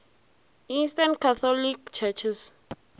eastern catholic churches